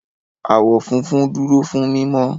Àwọ̀ funfun dúró fún mímọ́.